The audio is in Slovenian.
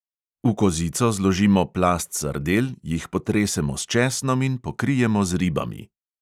V kozico zložimo plast sardel, jih potresemo s česnom in pokrijemo z ribami.